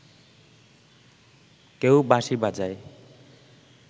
কেউ বাঁশি বাজায়